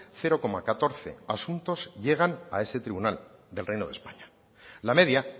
cero coma catorce asuntos llegan a ese tribunal del reino de españa la media